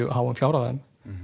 háum fjárhæðum